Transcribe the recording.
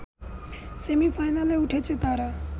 সেমি-ফাইনালে উঠেছে তারা